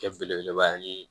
Kɛ belebeleba ye